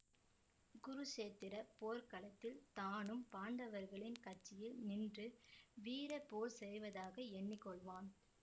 குருக்ஷேத்திரப் போர்க்களத்தில் தானும் பாண்டவர்களின் கட்சியில் நின்று வீர போர் செய்வதாக எண்ணி கொள்வான்